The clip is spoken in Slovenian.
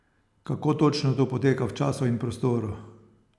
Kako točno to poteka v času in prostoru?